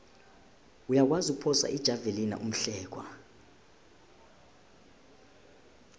uyakwazi ukuphosa ijavelina umhlekwa